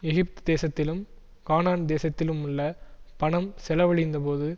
எகிப்துதேசத்திலும் கானான்தேசத்திலுமுள்ள பணம் செலவழிந்த போது